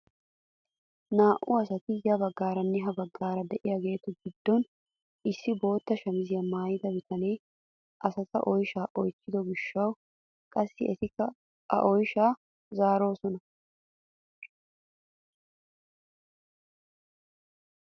Naa"u asati ya baggaaranne ha baggaara de'iyaagetu giddon issi bootta shamisiyaa maayida bitanee asata oyshshaa oychchido giishshawu qassi etikka a oyshshaadan zaaroosona.